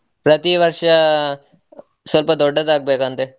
ಪ್ರತಿ ವರ್ಷ, ಸ್ವಲ್ಪ ದೊಡ್ಡದಾಗ್ ಬೇಕಂತೆ.